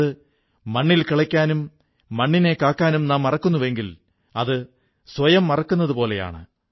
അതായത് മണ്ണിൽകിളയ്ക്കാനും മണ്ണിനെ കാക്കാനും നാം മറക്കുന്നുവെങ്കിൽ അത് സ്വയം മറക്കുന്നതുപോലെയാണ്